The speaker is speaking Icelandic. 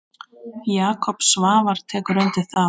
Jakob Svavar tekur undir það.